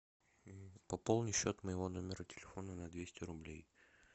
пополни счет моего номера телефона на двести рублей